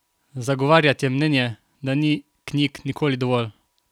Zagovarjate mnenje, da ni knjig nikoli dovolj?